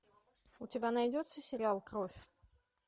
у тебя найдется сериал кровь